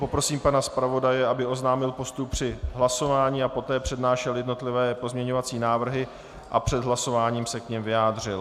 Poprosím pana zpravodaje, aby oznámil postup při hlasování a poté přednášel jednotlivé pozměňovací návrhy a před hlasováním se k nim vyjádřil.